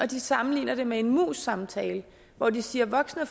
de sammenligner det med en mus samtale og de siger at voksne